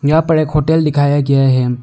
यहां पे एक होटल दिखाया गया हैं।